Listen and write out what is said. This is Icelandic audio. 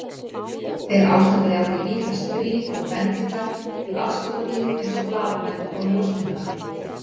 Þeir ástunda jafnvel ítalskt grín og bendingar við aðskotadýr eins og blaðamenn og ljósmyndara.